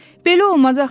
“Belə olmaz axı!